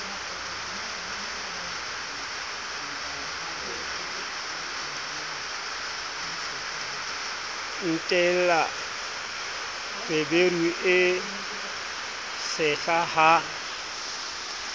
entela feberu e tshehla ha